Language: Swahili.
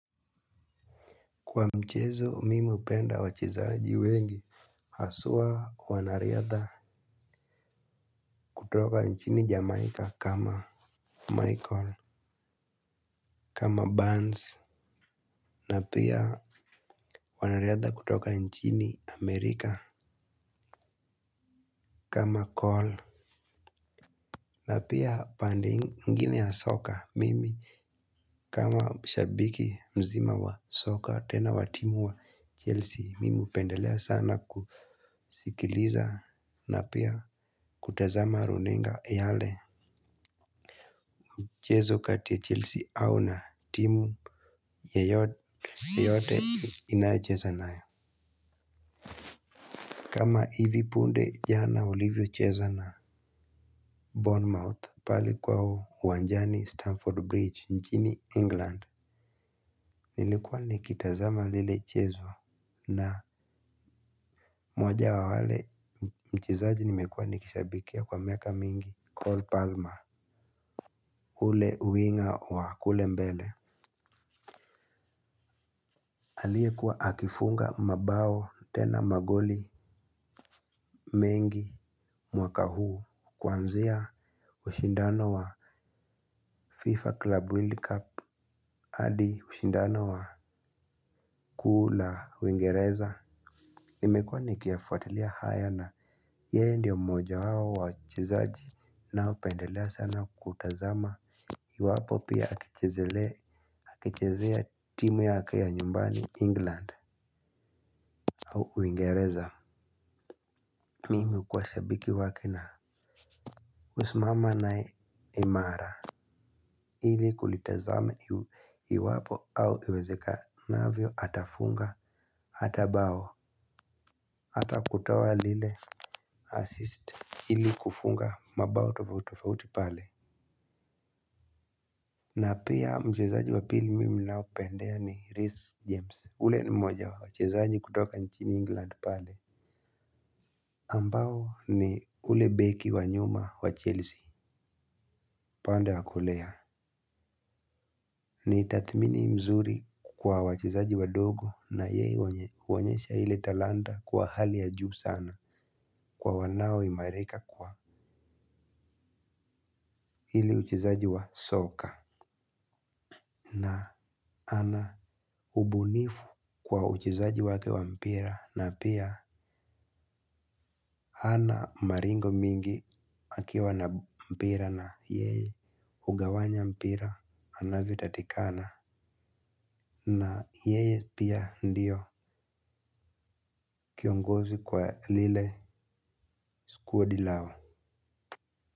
Kwa michezo mimi hupenda wachezaji wengi haswa wanariadha. Kutoka nchini Jamaica kama Michael, Kama Burns, Na pia wanariadha kutoka nchini Amerika. Kama Cole, Na pia pande hik igine ya soka mimi kama shabiki mzima wa soccer tena wa timu wa chelsea mimi hupendelea sana kusikiliza na pia kutazama runinga yale mchezo kati ya Chelsea au na timu yoyote inayocheza nayo. Kama hivi punde jana walivyocheza na Bournemouth pale kwao uwanjani Stamford Bridge nchini England. Nilikuwa nikitazama lile chezo na moja wa wale mchezaji nimekuwa nikishabikia kwa miaka mingi Cole Palmer yule winga wa kule mbele aliyekuwa akifunga mabao tena magoli mengi mwaka huu kwanzia ushindano wa FIFA Club World Cup hadi ushindano wa kuu la Uingereza. Nimekuwa nikiyafuatilia haya na yeye ndio mmoja wao wa wachezaji ninaopendelea sana kutazama. Iwapo pia akichezea timu yake ya nyumbani England au Uingereza. Mimi hukuwa sabiki wake na husimama naye imara ili kulitazama iwapo au iwezekanavyo atafunga hata bao. Hata kutoa lile assist ili kufunga mabao tofauti tofauti pale. Na pia mchezaji wa pili mimi ninaopendea ni Reece James. Yule ni mmoja wa wachezaji kutoka nchini England pale ambao ni yule beki wa nyuma wa Chelsea. Upande wa kulia. Ni tathmini mzuri kwa wachezaji wadogo na yeye huonyesha ile talanta kwa hali ya juu sana. Kwa wanaoimarika kwa ile uchezaji wa soka na ana ubunifu kwa uchezaji wake wa mpira na pia hana maringo mingi akiwa na mpira na yeye hugawanya mpira anavyotakikana. Na yeye pia ndio kiongozi kwa lile kundi lao.